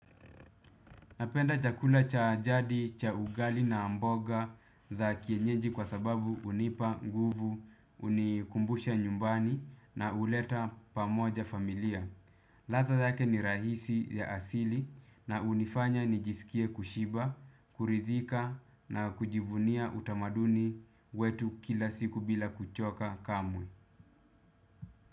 Napenda chakula cha jadi, cha ugali na mboga za kienyeji kwa sababu hunipa, nguvu, hunikumbusha nyumbani na huleta pamoja familia. Ladha zake ni rahisi ya asili na hunifanya nijisikie kushiba, kuridhika na kujivunia utamaduni wetu kila siku bila kuchoka kamwe.